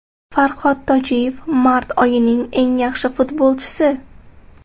Farhod Tojiyev mart oyining eng yaxshi futbolchisi.